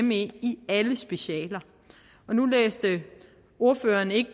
me i alle specialer og nu læste ordføreren ikke